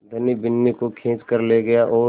धनी बिन्नी को खींच कर ले गया और